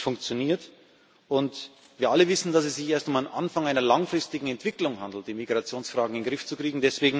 Es funktioniert, und wir alle wissen, dass es sich erst um den Anfang einer langfristigen Entwicklung handelt, die Migrationsfragen in den Griff zu kriegen.